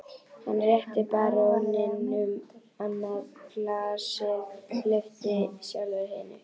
Hann rétti baróninum annað glasið, lyfti sjálfur hinu.